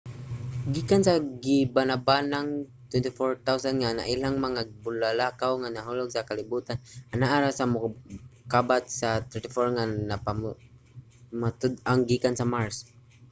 gikan sa gibana-banang 24,000 nga nailhang mga bulalakaw nga nahulog sa kalibutan anaa ra sa mokabat sa 34 ang napamatud-ang gikan sa mars